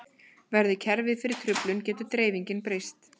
Verði kerfið fyrir truflun getur dreifingin breyst.